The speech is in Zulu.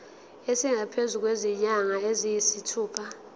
esingaphezu kwezinyanga eziyisithupha